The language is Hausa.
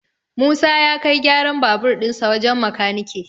Musa ya kai gyaran babur dinsa wajen makanike